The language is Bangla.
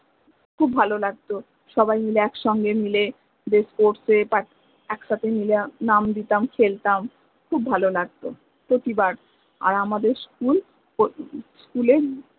খুব ভালো লাগত যে সবাই মিলে এক সাথে মিলে যে sports এ একসাথে মিলে নাম দিতাম খেল্তাম খুব ভালো লাগত প্রতিবার আর আমাদের school school এ